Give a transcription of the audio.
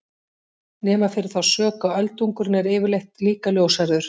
Nema fyrir þá sök að öldungurinn er yfirleitt líka ljóshærður!